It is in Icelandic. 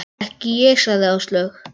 Ekki ég sagði Áslaug.